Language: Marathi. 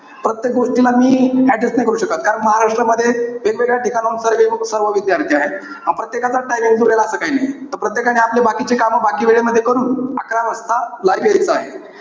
प्रत्येक गोष्टीला मी adjust नाई करू शकत. कारण महाराष्ट्रामध्ये वेगवेगळ्या ठिकाणाहून सर्वे~ सर्व विद्यार्थी आहे. प्रत्येकाचाच time असं काही नाहीये. प्रत्येकाने आपले बाकीचे कामं, बाकी वेळेमध्ये करून, अकरा वाजता live यायचं आहे.